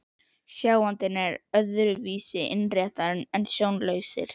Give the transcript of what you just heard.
Sjáandinn er öðru vísi innréttaður en sjónlausir.